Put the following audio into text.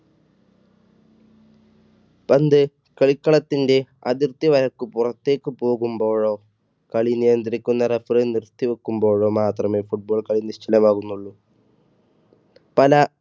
പന്ത് കളിക്കളത്തിന്റെ അതിർത്തി പുറത്തേക്ക് പോകുമ്പോഴോ കളി നിയന്ത്രിക്കുന്ന referee നിർത്തിവെക്കുമ്പോഴോ മാത്രമേ football കളി നിശ്ചലമാകുന്നുള്ളൂ. പല,